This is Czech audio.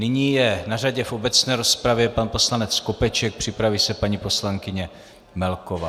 Nyní je na řadě v obecné rozpravě pan poslanec Skopeček, připraví se paní poslankyně Melková.